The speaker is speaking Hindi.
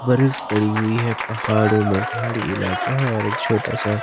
बर्फ पड़ी हुई है पहाड़ों में पहाड़ी इलाका है और एक छोटा सा--